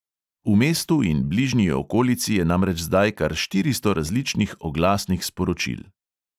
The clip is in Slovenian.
V mestu in bližnji okolici je namreč zdaj kar štiristo različnih oglasnih sporočil.